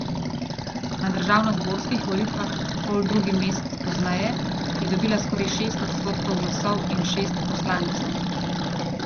Na državnozborskih volitvah poldrugi mesec pozneje je dobila skoraj šest odstotkov glasov in šest poslancev.